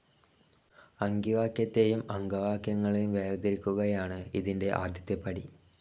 അംഗിവാക്യത്തെയും അംഗവാക്യങ്ങളെയും വേർതിരിക്കുകയാണ് ഇതിന്റെ ആദ്യത്തെ പടി.